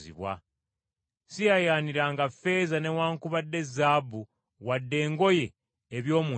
Siyaayaaniranga ffeeza newaakubadde zaabu wadde engoye eby’omuntu n’omu.